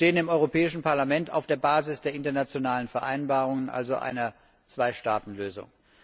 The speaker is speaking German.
Wir stehen im Europäischen Parlament auf der Basis der internationalen Vereinbarungen, also einer Zweistaatenlösung.